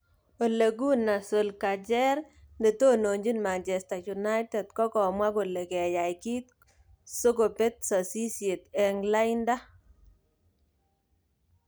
Ole Gunnar Solskjaer: Netononjin Manchester United kokomwa kole keyay kit sokobet sasisiet eng lainda.